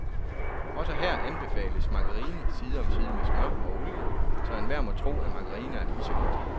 Også her anbefales margarine side om side med smør og olie, så enhver må tro, at margarine er lige så godt.